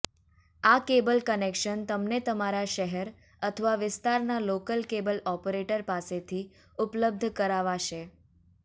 આ cable connection તમને તમારા શહેર અથવા વિસ્તારના લોકલ કેબલ ઓપરેટર પાસેથી ઉપલબ્ધ કરાવાશે